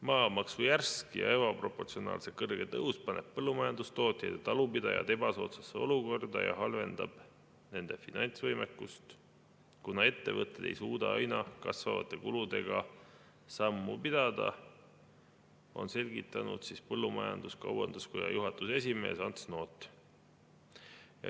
Maamaksu järsk ja ebaproportsionaalselt kõrge tõus paneb põllumajandustootjad ja talupidajad ebasoodsasse olukorda ja halvendab nende finantsvõimekust, kuna ettevõtted ei suuda aina kasvavate kuludega sammu pidada," on selgitanud põllumajandus-kaubanduskoja juhatuse esimees Ants Noot.